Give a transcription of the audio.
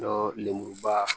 Dɔ lemuruba